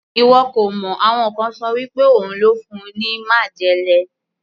Ìwọ kò mọ̀, àwọn kan ṣọ wí pé òun ló fún un ní májèlé.